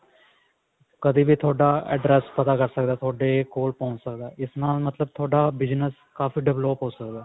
ਕਦੇ ਵੀ ਥੋਡਾ address ਪਤਾ ਕਰ ਸਕਦਾ ਥੋਡੇ ਕੋਲ ਪਹੁੰਚ ਸਕਦਾ ਇਸ ਨਾਲ ਮਤਲਬ ਥੋਡਾ business ਕਾਫੀ develop ਹੋ ਸਕਦਾ